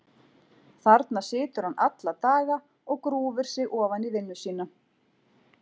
Þarna situr hann alla daga og grúfir sig ofan í vinnu sína.